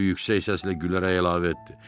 O yüksək səslə gülərək əlavə etdi.